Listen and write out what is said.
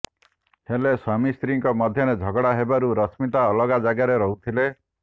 ହେଲେ ସ୍ୱାମୀ ସ୍ତ୍ରୀଙ୍କ ମଧ୍ୟରେ ଝଗଡ଼ା ହେବାରୁ ରଶ୍ମିତା ଅଲଗା ଜାଗାରେ ରହୁଥିଲେ